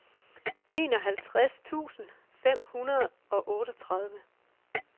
enoghalvtreds tusind fem hundrede og otteogtredive